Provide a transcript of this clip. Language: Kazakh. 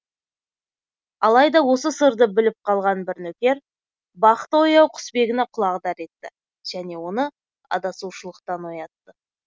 алайда осы сырды біліп қалған бір нөкер бақыты ояу құсбегіні құлағдар етті және оны адасушылықтан оятты